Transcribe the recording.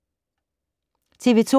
TV 2